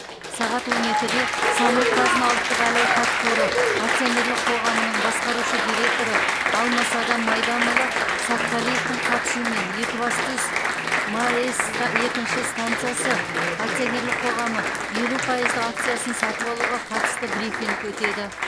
сағат он екіде самұрық қазына ұлттық әл ауқат қоры акционерлік қоғамының басқарушы директоры алмасадам майданұлы сатқалиевтің қатысуымен екібастұз маэс екінші стансасы акционерлік қоғамы елу пайызды акциясын сатып алуға қатысты брифинг өтеді